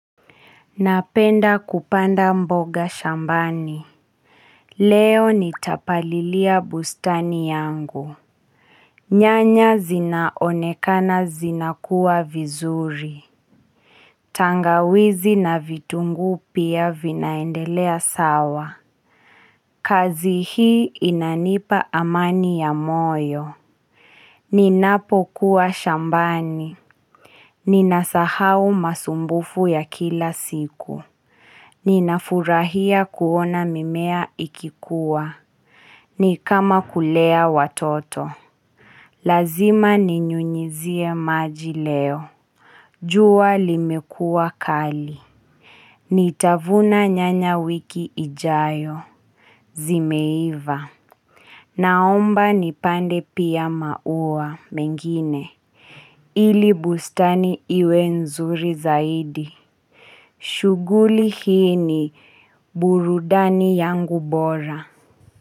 Napenda kupanda mboga shambani. Leo nitapalilia bustani yangu nyanya zinaonekana zinakuwa vizuri tangawizi na vitungu pia vinaendelea sawa. Kazi hii inanipa amani ya moyo ninapo kuwa shambani ninasahau masumbufu ya kila siku ninafurahia kuona mimea ikikua ni kama kulea watoto lazima ninyunyizie maji leo jua limekua kali nitavuna nyanya wiki ijayo zimeiva naomba nipande pia maua mengine ili bustani iwe nzuri zaidi shuguli hii ni burudani yangu bora.